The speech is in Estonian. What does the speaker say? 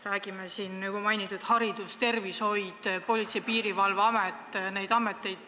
Räägime siin juba mainitud haridusest, tervishoiust, Politsei- ja Piirivalveametist, Päästeametist.